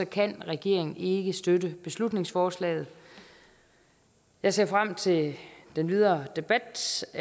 kan regeringen ikke støtte beslutningsforslaget jeg ser frem til den videre debat